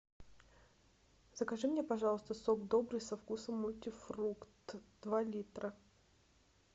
закажи мне пожалуйста сок добрый со вкусом мультифрукт два литра